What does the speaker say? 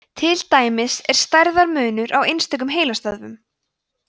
til dæmis er stærðarmunur á einstökum heilastöðvum